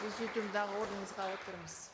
президиумдағы орныңызға отырыңыз